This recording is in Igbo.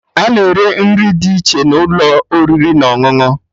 Ana ere nri dị iche n'ụlọ oriri na ọṅụṅụ